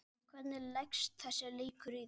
Kristinn, hvernig leggst þessi leikur í þig?